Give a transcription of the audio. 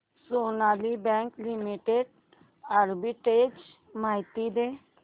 Sonali bank limited arbitrage माहिती दे